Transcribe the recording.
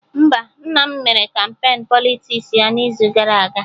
Mba, nna m mere kampain Politiks ya n'izu gara aga